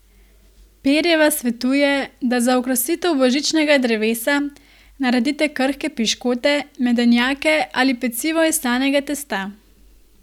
Perjeva svetuje, da za okrasitev božičnega drevesa naredite krhke piškote, medenjake ali pecivo iz slanega testa.